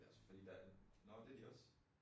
Ja også fordi der nå det de også